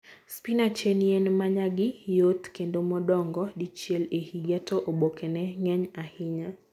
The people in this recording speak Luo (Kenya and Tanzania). Spinach en yien ma nyagi yot kendo modongo dichiel e higa, to obokene ng'eny ahinya.